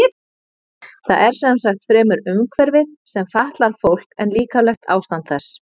Það er sem sagt fremur umhverfið sem fatlar fólk en líkamlegt ástand þess.